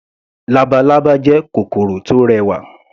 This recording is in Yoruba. Labalábá jẹ́ kòkòrò tó rẹwà.